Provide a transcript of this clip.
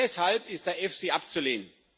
Deshalb ist der EFSI abzulehnen.